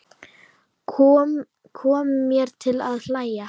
Kom mér til að hlæja.